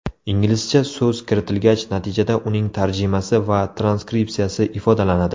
Inglizcha so‘z kiritilgach, natijada uning tarjimasi va transkripsiyasi ifodalanadi.